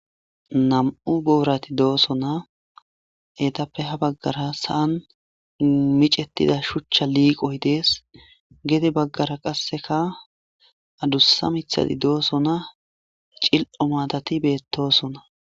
nam7u boorati dooso na etappe ha baggara sa7an micettida shuchcha liiqoy dees gede baggara qasseka adussa mithadi dooso na cil7o maatati beettosona